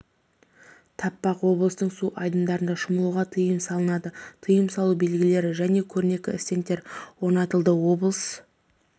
таппақ облыстың су айдындарында шомылуға тыйым салынады тыйым салу белгілері және көрнекі стендтер орнатылды облыс